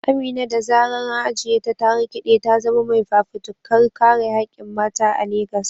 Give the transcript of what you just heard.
Amina, da zarar an ajiye ta, ta rikide ta zama mai fafutukar kare hakkin mata a Legas.